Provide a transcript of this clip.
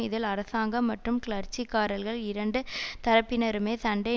இதில் அரசாங்கம் மற்றும் கிளர்ச்சிக்காரர்கள் இரண்டு தரப்பினருமே சண்டை